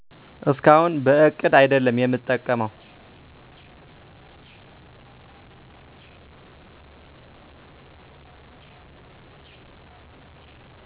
እስካሁን በእቅድ አይደለም የምጠቀመው